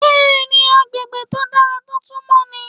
Bẹ́ẹ̀ni, agbègbè tó dára tó tún mọ́ ni.